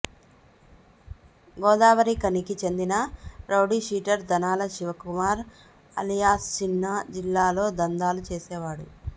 గోదావరిఖనికి చెందిన rowdy sheeter Dhanala Shivakumar alias Chinna జిల్లాలో దందాలు చేసేవాడు